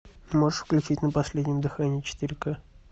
можешь включить на последнем дыхании четыре к